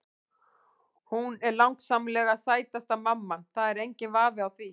Hún er langsamlega sætasta mamman, það er enginn vafi á því.